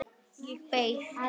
Og beið.